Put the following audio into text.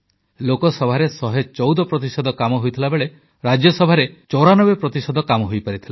ଲୋକସଭାରେ 114 ପ୍ରତିଶତ କାମ ହୋଇଥିବାବେଳେ ରାଜ୍ୟସଭାରେ 94ପ୍ରତିଶତ କାମ ହୋଇପାରିଥିଲା